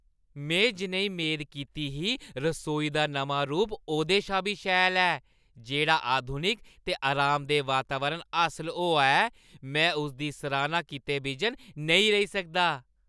में जनेही मेद कीती ही रसोई दा नमां रूप ओह्दे शा मता शैल ऐ; जेह्‌ड़ा आधुनिक ते आरामदेह् वातावरण हासल होआ ऐ में उसदी सराह्‌ना कीते बिजन नेईं रेही सकदा।